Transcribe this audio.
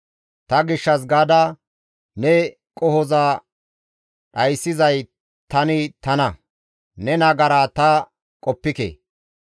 «Ta gishshas gaada ne qohoza dhayssizay tani tana; ne nagaraa ta qoppike.